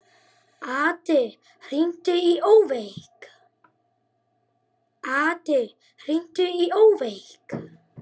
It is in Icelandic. Addý, hringdu í Ófeig.